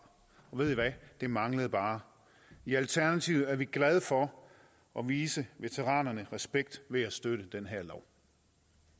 og ved i hvad det manglede bare i alternativet er vi glade for at vise veteranerne respekt ved at støtte